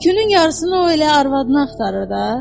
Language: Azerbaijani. Künün yarısını o elə arvadını axtarır da, hə?